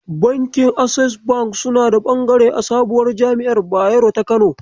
Bankin Access bank suna da bangare a sabuwar jami'ar Bayero ta Kano.